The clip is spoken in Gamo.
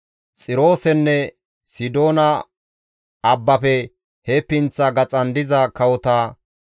Xiroosenne Sidoona abbafe he pinththa gaxan diza kawota,